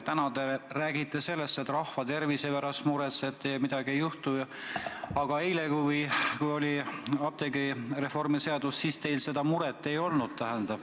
Täna te räägite sellest, et te rahva tervise pärast muretsete ja midagi ei juhtu, aga eile, kui oli arutlusel apteegireformi seadus, teil seda muret ei olnud.